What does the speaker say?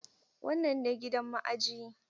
Wannan ne gidan ma'ajiyi.